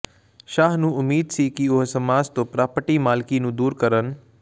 ਸ਼ਾਅ ਨੂੰ ਉਮੀਦ ਸੀ ਕਿ ਉਹ ਸਮਾਜ ਤੋਂ ਪ੍ਰਾਪਰਟੀ ਮਾਲਕੀ ਨੂੰ ਦੂਰ ਕਰਨ